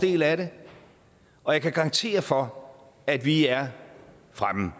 del af det og jeg kan garantere for at vi er fremme